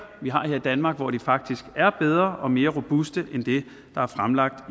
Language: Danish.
vi har her i danmark hvor de faktisk er bedre og mere robuste end det der er fremlagt